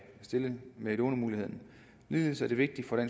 stille med lånemuligheden ligeledes er det vigtigt